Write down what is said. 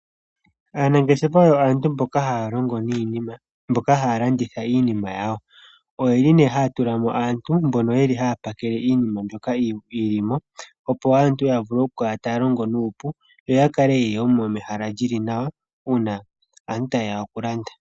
Aanangeshefa oyo aantu mboka haya longo niinima, mboka haya landitha iinima yawo, oyo yeli nee haya tula mo aantu mbono ye li haya pakele iinima mbyoka yili mo, opo aantu ya vule okukala taya longo nuupu, yo yakale yena ehala lyili nawa uuna aantu taye ya okulanda.